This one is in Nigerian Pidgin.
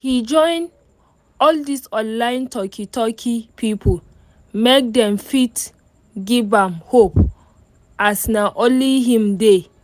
he join all this online talki talki people make them fit give am hope as nah only him dey